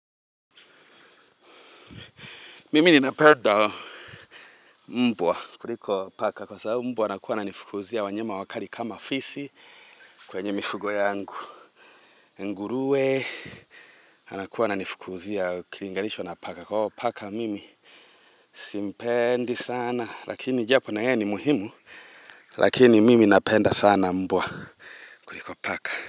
Mimi ninapenda mbwa kuliko paka kwa sababu mbwa anakuwa ananifukuzia wanyama wakali kama fisi kwenye mifugo yangu. Nguruwe anakuwa ananifukuuzia kilinganishwa na paka kwa hao paka mimi simpendi sana lakini japo na yeye ni muhimu lakini mimi napenda sana mbwa. Kuliko paka.